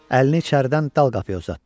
Əlini içəridən dal qapıya uzatdı.